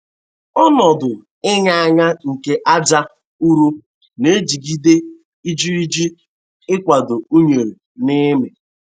Ọnodu inya anya nke aja ụrọ na-ejigide ijiriji ịkwado unere ina-amị.